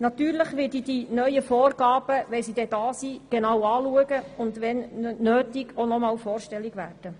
Natürlich werde ich die neuen Vorgaben, wenn sie denn da sind, genau prüfen und falls nötig nochmals vorstellig werden.